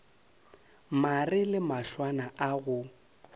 mare le mahlwana a go